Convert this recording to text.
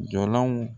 Jɔlanw